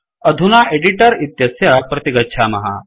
अधुना एडिटर इत्यत्र प्रतिगच्छामः